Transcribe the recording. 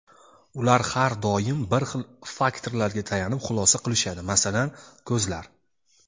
ular har doim bir xil faktorlarga tayanib xulosa qilishadi, masalan, ko‘zlar.